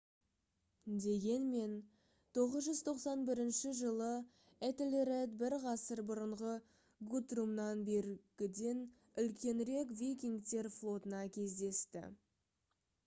дегенмен 991 жылы этельред бір ғасыр бұрынғы гутрумнан бергіден үлкенірек викингтер флотына кездесті